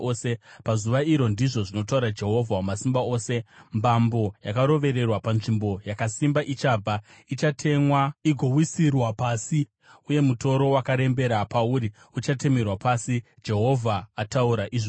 “Pazuva iro,” ndizvo zvinotaura Jehovha Wamasimba Ose, “mbambo yakarovererwa panzvimbo yakasimba ichabva; ichatemwa igowisirwa pasi, uye mutoro wakarembera pauri uchatemerwa pasi.” Jehovha ataura izvozvo.